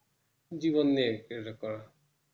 জীবন নিয়ে কিছুটা করা